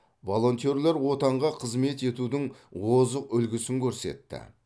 волонтерлер отанға қызмет етудің озық үлгісін көрсетті